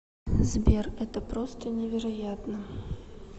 сбер это просто невероятно